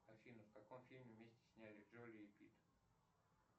афина в каком фильме вместе сняли джоли и питт